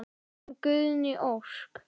Þín Guðný Ósk.